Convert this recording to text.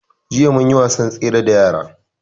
Jiya mun yi wasan tsere da yara